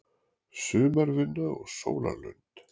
Sumarvinna og sólarlönd